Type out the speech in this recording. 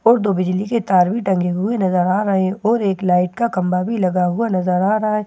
और दो बिजली के तार भी टंगे हुए नजर आ रहे हैं और एक लाइट का खंभा भी लगा हुआ नजर आ रहा है।